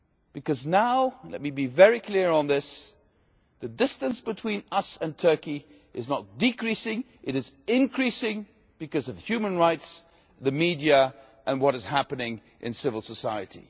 Because now and let me be very clear on this the distance between us and Turkey is not decreasing, it is increasing because of human rights, the media and what is happening in civil society.